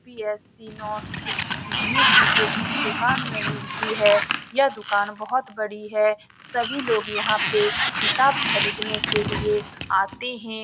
UPSC. की notes IGNOU की book इस दुकान में मिलती है यह दुकान बहुत बड़ी है सभी लोग यहाँ पे किताब खरीद ने के लिए आते हैं ।